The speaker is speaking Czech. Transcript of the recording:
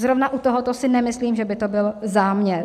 Zrovna u tohoto si nemyslím, že by to byl záměr.